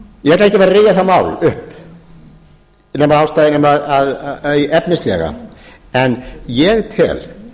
ég ætla ekkert að fara að rifja það mál upp efnislega en ég tel